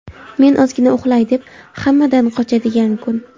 men ozgina uxlay deb hammadan qochadigan kun.